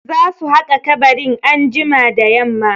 Za su haƙa kabarin anjima da yamma.